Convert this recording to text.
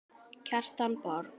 Kjartan Borg.